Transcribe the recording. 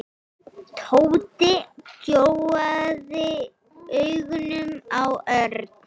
Tóti gjóaði augunum á Örn.